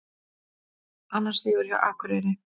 Annar sigur hjá Akureyri